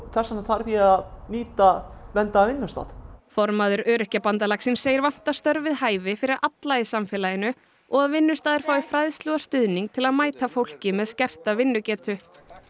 þess vegna þarf ég að nýta verndaðan vinnustað formaður Öryrkjabandalagsins segir vanta störf við hæfi fyrir alla í samfélaginu og að vinnustaðir fái fræðslu og stuðning til að mæta fólki með skerta vinnugetu